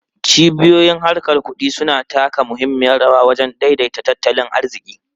Cibiyoyin harkar kudi suna taka muhimmiyar rawa wajen daidaita tattalin arziki.